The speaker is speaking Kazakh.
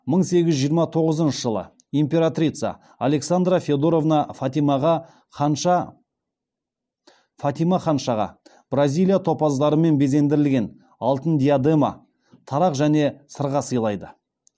мың сегіз жүз жиырма тоғызыншы жылы императрица александра федоровна фатима ханшаға бразилия топаздарымен безендірілген алтын диадема тарақ және сырға сыйлайды